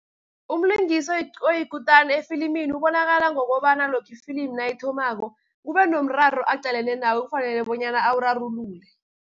Umlingisi oyikutani, efilimini ubonakala ngokobana lokha ifilimu nayithomako, kubenomraro aqalene nawo ofanele bonyana awurarulule.